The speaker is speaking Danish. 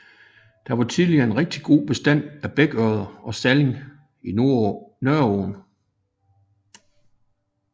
Der var tidligere en rigtig god bestand af bækørred og stalling i Nørreåen